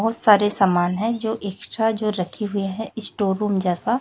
बहुत सारे सामान हैं जो एक्स्ट्रा जो रखे हुए हैं स्टोर रूम जैसा।